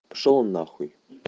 пошёл на хуй